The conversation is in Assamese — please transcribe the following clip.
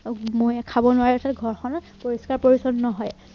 মহে খাব নোৱাৰে তাৰপাছত ঘৰখনত পৰিস্কাৰ পৰিচন্ন হয়